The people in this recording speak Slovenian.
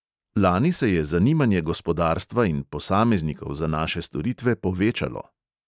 Lani se je zanimanje gospodarstva in posameznikov za naše storitve povečalo.